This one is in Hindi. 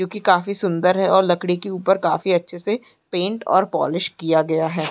क्यूंकि काफी सूंदर है और लकड़ी के ऊपर काफी अच्छे से पेंट और पोलिश किया गया है।